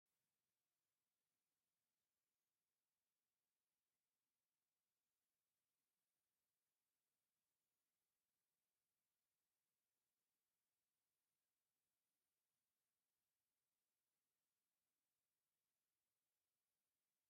ጽቡቕ ውሕጅ ማይ ካብ ልዑል ገደል ንታሕቲ ይውሕዝ። እቲ ማይ ኣብ መንጎ ኣኻውሕ ብሓይሊ ዝውሕዝን ከባቢኡን ጽቡቕ ተፈጥሮኣዊ ሃዋህው እዩ። ናይ ሰላምን ምዝንጋዕን ስምዒት ይፈጥር።